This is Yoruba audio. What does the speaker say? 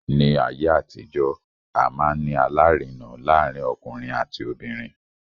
Ní ayé àtijó, a máa ń ní alárinà láàárín ọkùnrin àti obìnrin.